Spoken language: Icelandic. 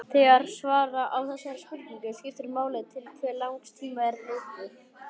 Þegar svara á þessari spurningu skiptir máli til hve langs tíma er litið.